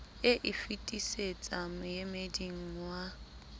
e e fitisetsa moemeding wa